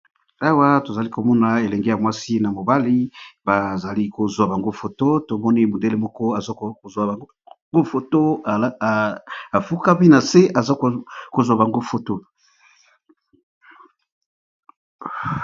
awa tozali komona elenge ya mwasi na mobali bazali kozwa bango foto tomoni modele moko aza kozwa bango foto afukami na se aza kozwa bango foto